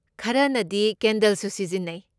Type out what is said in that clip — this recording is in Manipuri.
ꯈꯔꯅꯗꯤ ꯀꯦꯟꯗꯜꯁꯨ ꯁꯤꯖꯤꯟꯅꯩ꯫